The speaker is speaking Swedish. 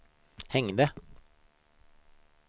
hängde